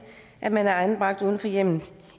at man er anbragt uden for hjemmet